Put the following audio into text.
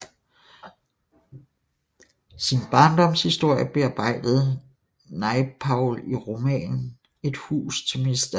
Sin barndomshistorie bearbejdede Naipaul i romanen Et hus til mr